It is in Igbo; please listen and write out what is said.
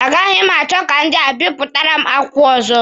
A gaghị m achọ ka ndị a bipụtara m akwukwo ọzọ.